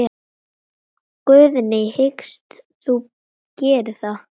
Guðný: Hyggst þú gera það?